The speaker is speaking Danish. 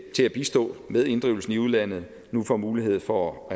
til at bistå med inddrivelsen i udlandet nu får mulighed for